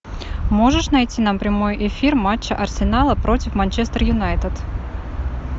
можешь найти нам прямой эфир матча арсенала против манчестер юнайтед